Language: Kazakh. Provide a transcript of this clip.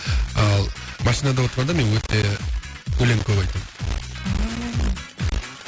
ал машинада отқанда мен өте өлең көп айтамын